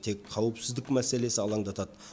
тек қауіпсіздік мәселесі алаңдатады